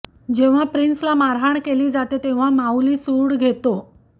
जेव्हा प्रिन्सला मारहाण केली जाते तेव्हा माऊली सूड घेतो